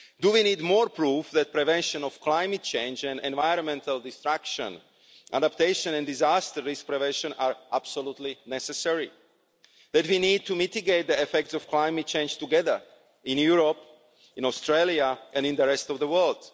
Do we need more proof that the prevention of climate change and environmental destruction, adaptation and disaster risk prevention, are absolutely necessary, and that we need to mitigate the effects of climate change together in Europe, in Australia and in the rest of the world?